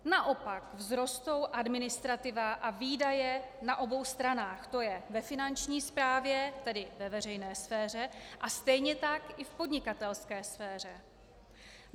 Naopak vzrostou administrativa a výdaje na obou stranách, to je ve finanční správě, tedy ve veřejné sféře, a stejně tak i v podnikatelské sféře.